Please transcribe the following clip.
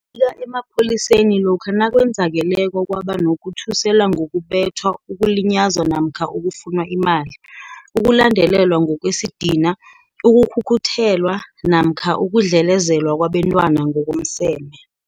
Bika emapholiseni lokha nakwenzakeleko kwaba nokuthusela ngokubethwa ukulinyazwa namkha ukufunwa imali, ukulandelelwa ngokwesidina, ukukhukhuthelwa, namkha ukudlelezelwa kwabentwana ngokomseme.